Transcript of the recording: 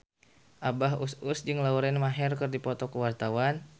Abah Us Us jeung Lauren Maher keur dipoto ku wartawan